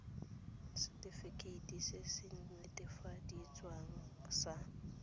setefikeiti se se netefaditsweng sa